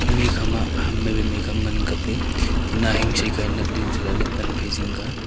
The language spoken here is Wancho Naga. mi kha ma ham mai wai mai ka am ngan ang kap ley tina hing she ka ei nat ley chai lahley Pan phai zing ka a.